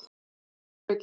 Aðsókn hefur aukist.